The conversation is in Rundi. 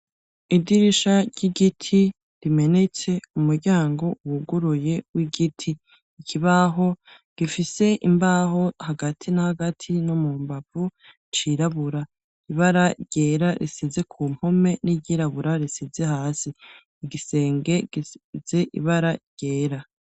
Idirisha ry'igiti rimenetse, umuryango wuguruye w'igiti, ikibaho gifise imbaho hagati na hagati no mu mbavu cirabura ibara ryera risize ku mpome n'iryirabura risize hasi igisenge gize ibara ryera.